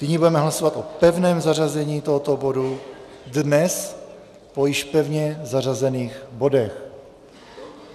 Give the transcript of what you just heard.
Nyní budeme hlasovat o pevném zařazení tohoto bodu dnes po již pevně zařazených bodech.